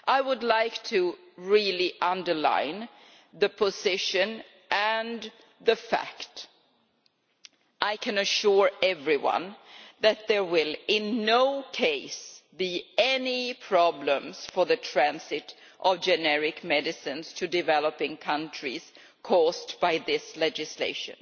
I would very much like to underline the position and the fact I can assure everyone that there will in no case be any problems for the transit of generic medicines to developing countries as a result of this legislation.